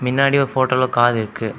மின்னாடி ஒரு ஃபோட்டோல கார் இருக்கு.